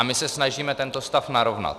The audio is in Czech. A my se snažíme tento stav narovnat.